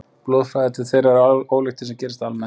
Blóðflæði til þeirra er ólíkt því sem gerist almennt.